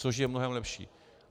Což je mnohem lepší.